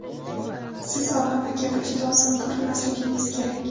Siz Obama kabi juda ozg‘in ko‘rinmasligingiz kerak.